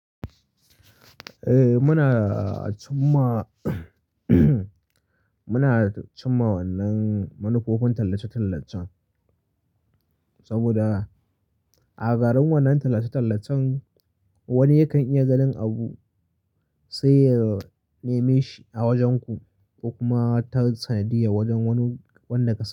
Eh muna cin ma muna cin ma wannan manufofin tallace-tallacen saboda a garin wannan tallace-tallacen wani yakan iya ganin abu sai ya neme shi a wajenku kuma ta sanadiyya wajen wani wanda ka sani.